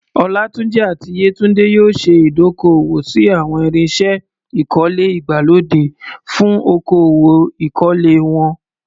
Olatunji àti Yetunde yóò ṣe ìdókòwò sí àwọn irinṣẹ́ ìkọ́lé ìgbàlódé fún okòwò ìkọ́lé wọn.